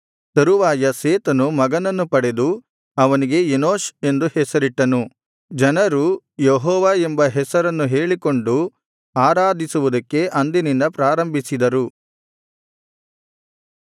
ತರುವಾಯ ಸೇತನು ಮಗನನ್ನು ಪಡೆದು ಅವನಿಗೆ ಎನೋಷ್ ಎಂದು ಹೆಸರಿಟ್ಟನು ಜನರು ಯೆಹೋವ ಎಂಬ ಹೆಸರನ್ನು ಹೇಳಿಕೊಂಡು ಆರಾಧಿಸುವುದಕ್ಕೆ ಅಂದಿನಿಂದ ಪ್ರಾರಂಭಿಸಿದರು